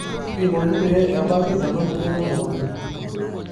kaji ikoni pee ebaki ena moyian elukunya?